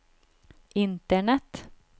internett